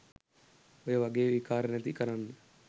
ඔය වගේ විකාර නැති කරන්න